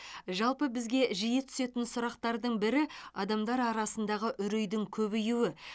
жалпы бізге жиі түсетін сұрақтардың бірі адамдар арасындағы үрейдің көбеюі